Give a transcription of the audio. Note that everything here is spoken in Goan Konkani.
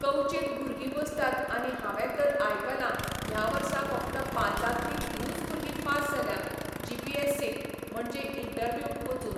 कवचीत भुरगीं बसतात आनी हांवें तर आयकलां ह्या वर्सा फकत पांचांतलीं तिनूच भुरगीं पास जाल्या जीपीएससीक म्हणचें इंटरव्यूक वचून.